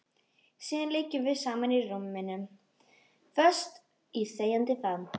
Síðan liggjum við saman í rúminu, föst í þegjandi faðm